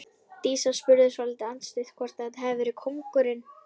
Dísa spurði svolítið andstutt hvort þetta hefði verið kóngurinn.